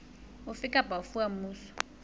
ofe kapa ofe wa mmuso